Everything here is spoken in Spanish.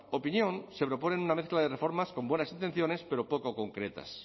opinión se propone una mezcla de reformas con buenas intenciones pero poco concretas